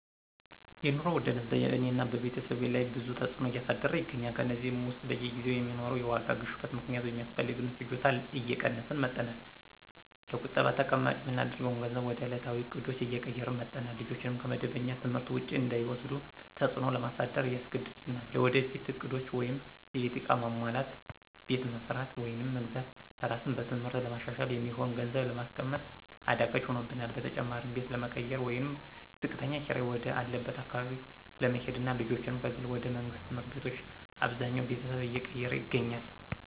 የኑሮ ውድነት በእኔና በቤተሰቤ ላይ ብዙ ተዕጽኖ እያሳደረ ይገኛል። ከእነዚህም ውስጥ በየጊዜው በሚኖረው የዋጋ ግሽበት ምክንያት ሚያስፈልገንን ፍጆታ እየቀነስን መጠናል፣ ለቁጠባ ተቀማጭ ምናደርገውን ገንዘብ ወደ እለታዊ እቅዶች እየቀየርን መጠናል፣ ልጆችን ከመደበኛ ትምህርት ውጪ እንዳይወስዱ ተጽዕኖ ለማሳደር ያስገድደናል። ለወደፊት እቅዶች(የቤት ዕቃ ማሟላት፣ ቤት መስራት ወይም መግዛት፣ ራስን በትምህርት ለማሻሻል) የሚሆን ገንዘብ ለማስቀመጥ አዳጋች ሆኖብናል። በተጨማሪም ቤት ለመቀየር ወይም ዝቅተኛ ኪራይ ወደ አለበት አካባቢ ለመሄድና ልጆችንም ከግል ወደ መንግስት ትምህርት ቤቶች አብዛኛው ቤተሰብ እየቀየረ ይገኛል።